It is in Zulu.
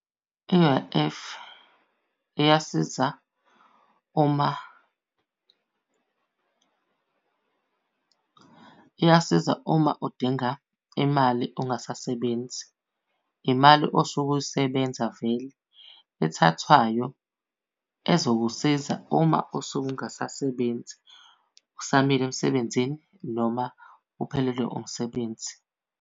I-U_I_F iyasiza uma, iyasiza uma udinga imali ungasasebenzi. Imali osuke uyisebenza vele ethathwayo ezokusiza uma usuke ungasasebenzi usamile emsebenzini noma uphelelwe umsebenzi.